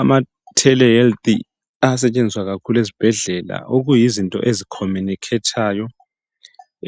ama tele health ayasetshenziswa kakhulu ezibhedlela okuyizinto ezi communicator yo